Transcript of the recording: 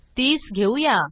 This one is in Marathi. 30 घेऊया